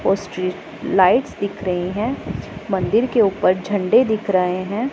Street lights दिख रही हैं मंदिर के ऊपर झंडे दिख रहे हैं।